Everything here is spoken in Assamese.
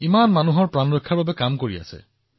তেওঁলোকে বহুতো লোকক বচাবলৈ কাম কৰি আছে